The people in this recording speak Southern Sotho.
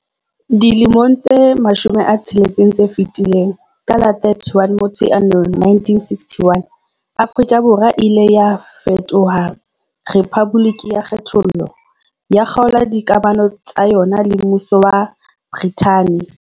Dilemong tse 60 tse fetileng, ka la 31 Motsheanong 1961, Afrika Borwa e ile ya fetoha rephaboliki ya kgethollo, ya kgaola dikamano tsa yona le mmuso wa Brithani.